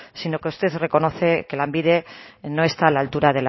sino que usted reconoce que lanbide no está a la altura